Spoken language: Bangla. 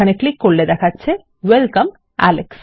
এখানে ক্লিক করলে দেখাচ্ছে ওয়েলকাম alex